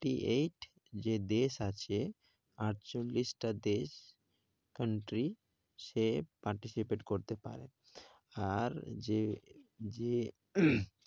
Eight যে দেশ আছে, আটচল্লিশটা দেশ country সে participate করতে পারে। আর যে যে